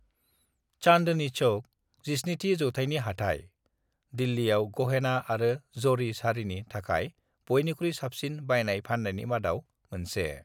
"चांदनी चौक, 17थि जौथायनि हाथाय, दिल्लीयाव गहेना आरो जरी साड़िनि थाखाय बयनिख्रुइ साबसिन बायनाय-फाननायनि मादाव मोनसे।"